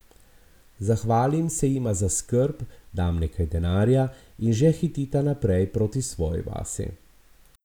Zahvalim se jima za skrb, dam nekaj denarja in že hitita naprej proti svoji vasi.